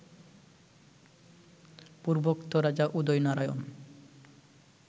পূর্বোক্ত রাজা উদয়নারায়ণ